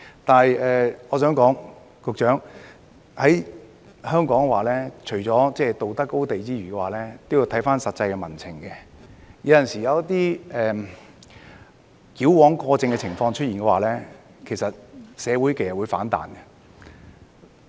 局長，我想說，在香港，除了道德高地外，也要考慮實際民情，有時一些矯枉過正的情況出現，社會其實會反彈。